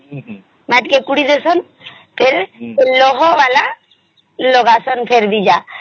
ମତିକେ ପୋଡି ଡେଇଁସନ ଫେର ସେ ଲୋହା ଵାଲା ଲଗସନ ଫେରିକି ଯା